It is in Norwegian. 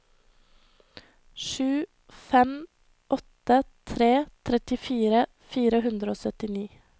sju fem åtte tre trettifire fire hundre og syttini